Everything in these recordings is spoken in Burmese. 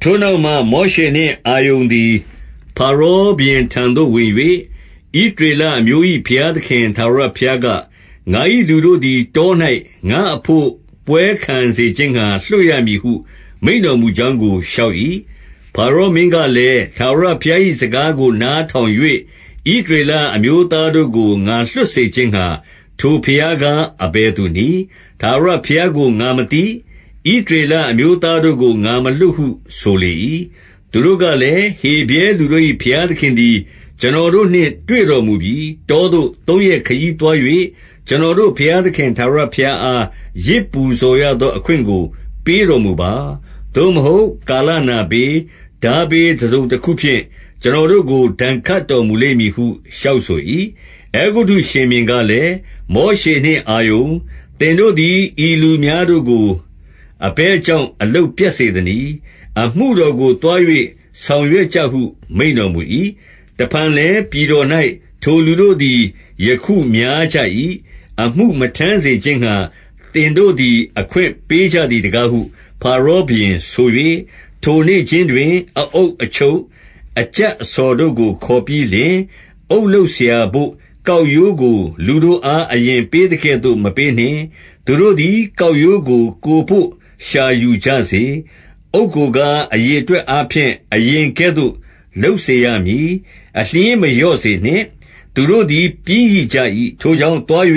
ထိုနောက်မှ၊ မောရှေနှင့်အာရုန်သည် ဖါရောဘုရင်ထံသို့ဝင်၍၊ ဣသရေလအမျိုး၏ ဘုရားသခင် ထာဝရဘုရားက၊ ငါ၏လူတို့သည် တော၌ ငါ့အဘို့ ပွဲခံစေခြင်းငှါ လွှတ်ရမည်ဟု မိန့်တော်မူကြောင်းကို လျှောက်၏။ 2 ဖါရောမင်းကလည်း၊ ထာဝရဘုရား၏စကားကို နားထောင်၍၊ ဣသရေလအမျိုးသားတို့ကို ငါလွှတ်စေ ခြင်းငှါ ထိုဘုရားကား အဘယ်သူနည်း။ ထာဝရဘုရားကို ငါမသိ၊ ဣသရေလအမျိုးသားတို့ကို ငါမလွှတ်ဟု ဆိုလေ၏။ 3 သူတို့ကလည်း၊ ဟေဗြဲလူတို့၏ ဘုရားသခင်သည် ကျွန်တော်တို့နှင့် တွေ့တော်မူပြီ။ တောသို့သုံးရက် ခရီးသွား၍၊ ကျွန်တော်တို့ ဘုရားသခင်ထာဝရဘုရားအား ယဇ်ပူဇော်ရသောအခွင့်ကို ပေးတော်မူပါ။ သို့မဟုတ် ကာလနာဘေး၊ ထားဘေးတစုံတခုဖြင့် ကျွန်တော်တို့ကို ဒဏ်ခတ်တော်မူလိမ့်မည်ဟု လျှောက်ဆို၏။ 4 အဲဂုတ္တုရှင်ဘုရင်ကလည်း၊ မောရှေနှင့် အာရုန်၊ သင်တို့သည် ဤလူများတို့ကို အဘယ်ကြောင့် အလုပ်ပြတ်စေသနည်း။ အမှုတော်ကို သွား၍ ဆောင်ရွက်ကြဟု မိန့်တော်မူ၏။ 5 တဖန်လည်း ပြည်တော်၌ ထိုလူတို့သည် ယခုများကြ၏။ အမှုမထမ်းစေခြင်းငှါ သင်တို့သည် အခွင့် ပေးကြသည်တကားဟု ဖါရောဘုရင်ဆို၍၊ 6 ထိုနေ့ခြင်းတွင် အအုပ်အချုပ်၊ အကြပ်အဆော်တို့ကို ခေါ်ပြီးလျှင်၊ 7 အုတ်လုပ်စရာဘို့ ကောက်ရိုးကို လူတို့အား အရင်ပေးသကဲ့သို့ မပေးနှင့်။ သူတို့သည် ကောက်ရိုးကို ကိုယ်ဘို့ ရှာယူကြစေ။ 8 အုတ်ကိုကား၊ အရေအတွက်အားဖြင့် အရင်ကဲ့သို့လုပ်စေရမည်၊ အလျှင်းမလျော့စေနှင့်။ သူတို့သည် ပျင်းရိကြ၏။ ထိုကြောင့် သွား၍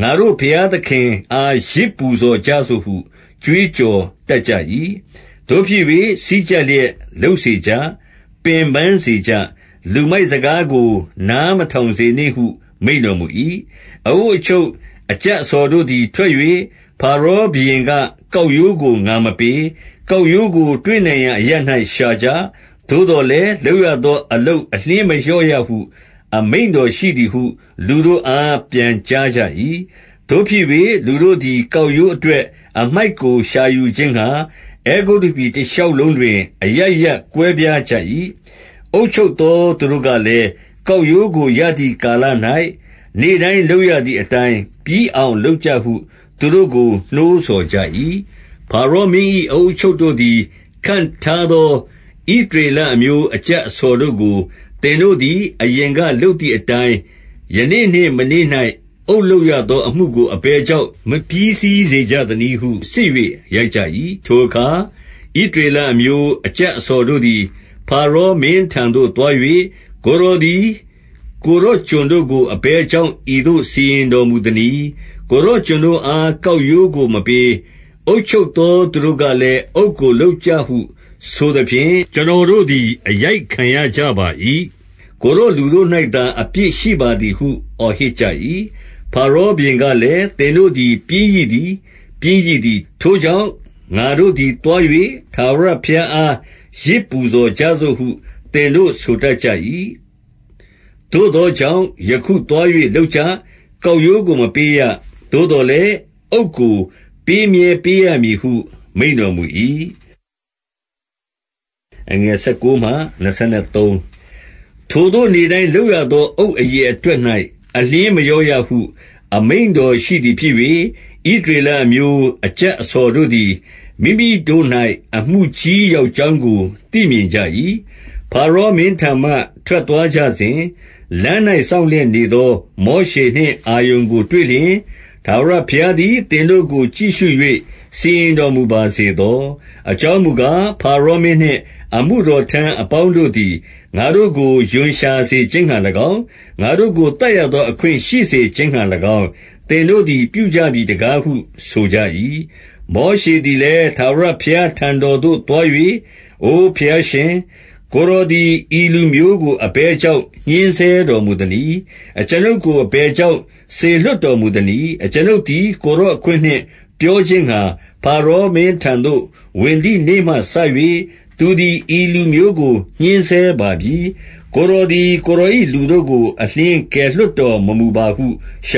ငါတို့ ဘုရားသခင်အား ယဇ်ပူဇော်ကြစို့ဟု ကြွေးကြော်တတ်ကြ၏။ 9 သို့ဖြစ်၍ စည်းကြပ်လျက် လုပ်စေကြ။ ပင်ပန်းစေကြ။ လူမိုက်စကားကို နားမထောင်စေနှင့်ဟု မိန့်တော်မူ၏။ 10 အအုပ်အချုပ် အကြပ်အဆော်တို့သည် ထွက်၍၊ ဖါရောဘုရင်က ကောက်ရိုးကိုငါမပေး။ 11 ကောက်ရိုးကို တွေ့နိုင်ရာအရပ်၌ ရှာကြ။ သို့သော်လည်း လုပ်ရသော အလုပ်အလျှင်းမလျော့ရဟု အမိန့်တော်ရှိသည်ဟု လူတို့အား ပြန်ကြားကြ၏။ 12 သို့ဖြစ်၍လူတို့သည် ကောက်ရိုးအတွက် အမှိုက်ကို ရှာယူခြင်းငှါ အဲဂုတ္တုပြည်တရှောက်လုံးတွင် အရပ်ရပ် ကွဲပြားကြ၏။ 13 အုပ်ချုပ်သော သူတို့ကလည်း၊ ကောက်ရိုးကို ရသည်ကာလ၌ နေ့တိုင်းလုပ်ရသည်အတိုင်း၊ ပြီးအောင် လုပ်ကြဟု သူတို့ကိုနှိုးဆော်ကြ၏။ 14 ဖါရောမင်း၏ အအုပ်အချုပ်တို့သည် ခန့်ထားသော ဣသရေလအမျိုး အကြပ်အဆော်တို့ကို သင်တို့ သည် အရင်ကလုပ်သည်အတိုင်း၊ ယနေ့နှင့်မနေ့၌ အုတ်လုပ်ရသောအမှုကို အဘယ်ကြောင့် မပြီးစီးစေကြ သနည်းဟု စစ်၍ရိုက်ကြ၏။ 15 ထိုအခါ၊ ဣသရေလအမျိုး အကြပ်အဆော်တို့သည်၊ ဖါရောမင်းထံသို့သွား၍၊ ကိုယ်တော်သည် ကိုယ်တော်ကျွန်တို့ကို အဘယ်ကြောင့် ဤသို့စီရင်တော်မူသနည်း။ 16 ကိုယ်တော်ကျွန်တို့အား၊ ကောက်ရိုးကိုမပေး၊ အုပ်ချုပ်သော သူတို့ကလည်း၊ အုတ်ကိုလုပ်ကြဟု ဆို သဖြင့်၊ ကျွန်တော်တို့သည် အရိုက်ခံရကြပါ၏။ ကိုယ်တော် လူတို့၌သာ အပြစ်ရှိပါသည်ဟု အော်ဟစ်ကြ၏။ 17 ဖါရောဘုရင်ကလည်း၊ သင်တို့သည် ပျင်းရိသည်၊ ပျင်းရိသည်။ ထိုကြောင့် ငါတို့သည်သွား၍ ထာဝရ ဘုရားအား ယဇ်ပူဇော်ကြစို့ဟု သင်တို့ ဆိုတတ်ကြ၏။ 18 သို့သောကြောင့် ယခုသွား၍လုပ်ကြ။ ကောက်ရိုးကိုမပေးရ။ သို့သော်လည်း အုတ်ကိုပေးမြဲပေးရမည်ဟု မိန့်တော်မူ၏။ 19 ထိုသို့နေ့တိုင်းလုပ်ရသော အုတ်အရေအတွက်၌ အလျှင်းမလျော့ရဟု အမိန့်တော်ရှိသည်ဖြစ်၍၊ ဣသ ရေလအမျိုး အကြပ်အဆော်တို့သည် မိမိတို့၌ အမှုကြီးရောက်ကြောင်းကို သိမြင်ကြ၏။ 20 ဖါရောမင်းထံမှ ထွက်သွားကြစဉ်၊ လမ်း၌ စောင့်လျက်နေသော မောရှေနှင့်အာရုန်ကို တွေ့လျှင်၊ 21 ထာဝရဘုရားသည် သင်တို့ကို ကြည့်ရှု၍ စီရင်တော်မူပါစေသော။ အကြောင်းမူကား၊ ဖါရောမင်းနှင့် အမှုတော်ထမ်းအပေါင်းတို့သည် ငါတို့ကို ရွံရှာစေခြင်းငှါ၎င်း၊ ငါတို့ကို သတ်ရသော အခွင့်ရှိစေခြင်းငှါ၎င်း၊ သင်တို့သည် ပြုကြပြီတကားဟု ဆိုကြ၏။ 22 မောရှေသည်လည်း၊ ထာဝရဘုရား ထံတော်သို့သွား၍၊ အိုဘုရားရှင်၊ ကိုယ်တော်သည် ဤလူမျိုးကို အဘယ်ကြောင့် ညှဉ်းဆဲတော်မူသနည်း။ အကျွန်ုပ်ကို အဘယ်ကြောင့် စေလွှတ်တော်မူသနည်း။ 23 အကျွန်ုပ်သည် ကိုယ်တော်အခွင့်နှင့် ပြောခြင်းငှာ၊ ဇါရောမင်း ထံသို့ ဝင်သည်နေ့မှစ၍၊ သူသည် ဤလူမျိုးကို ညှဉ်းဆဲပါပြီ။ ကိုယ်တော်သည် ကိုယ်တော်၏ လူတို့ကို အလျှင်းကယ်လွှတ်တော်မမူပါဟု လျှေ